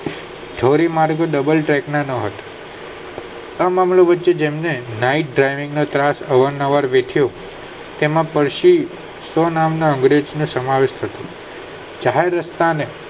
ધોરી માર્ગો Double tag ના ન હતા હતો આ મામલો વચ્ચે તેને naite drening ત્રાસ અવાર નવાર વેઠિયો તેમાં પછી શો નામ નો અંગ્રેજ નો સમાવેશ થતો જાહેર રસ્તા ને